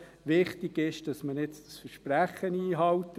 Wichtig ist, dass man jetzt das Versprechen einhält.